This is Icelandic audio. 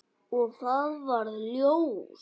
Og það varð ljós.